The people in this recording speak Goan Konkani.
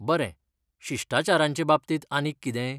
बरें, शिश्टाचारांचे बाबतींत आनीक कितेंय?